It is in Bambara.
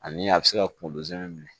Ani a bɛ se ka kunkolo zɛmɛ minɛ